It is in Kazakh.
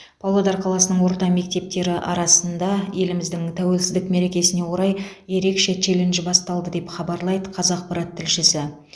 павлодар қаласының орта мектептері арасында еліміздің тәуелсіздік мерекесіне орай ерекше челлендж басталды деп хабарлайды қазақпарат тілшісі